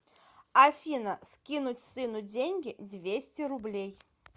афина скинуть сыну деньги двести рублей